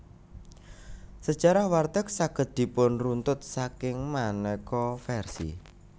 Sejarah warteg saged dipunruntut saking maneka versi